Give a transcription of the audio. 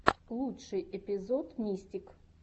лучший эпизод мистик